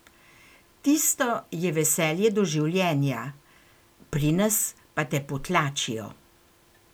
Tisto je veselje do življenja, pri nas pa te potlačijo.